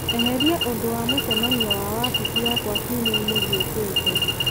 eheria ũndũ wa mũcemanio wa wabici yakwa kiumia-inĩ gĩũkĩte